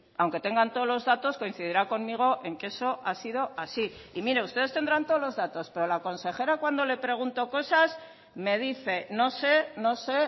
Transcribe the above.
aunque tengan todos los datos coincidirá conmigo en que eso ha sido así y mire ustedes tendrán todos los datos pero la consejera cuando le pregunto cosas me dice no sé no sé